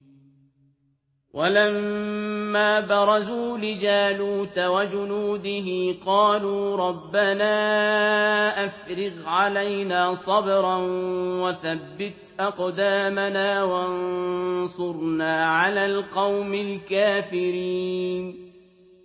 وَلَمَّا بَرَزُوا لِجَالُوتَ وَجُنُودِهِ قَالُوا رَبَّنَا أَفْرِغْ عَلَيْنَا صَبْرًا وَثَبِّتْ أَقْدَامَنَا وَانصُرْنَا عَلَى الْقَوْمِ الْكَافِرِينَ